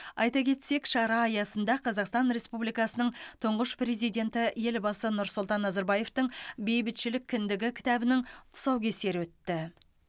айта кетсек шара аясында қазақстан республикасының тұңғыш президенті елбасы нұрсұлтан назарбаевтың бейбітшілік кіндігі кітабының тұсаукесері өтті